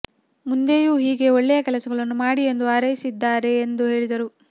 ಮುಂದೆಯೂ ಹೀಗೆ ಒಳ್ಳೆಯ ಕೆಲಸಗಳನ್ನು ಮಾಡಿ ಎಂದು ಹಾರೈಸಿದ್ದಾರೆ ಎಂದು ಹೇಳಿದರು